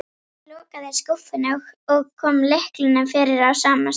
Ég lokaði skúffunni og kom lyklinum fyrir á sama stað.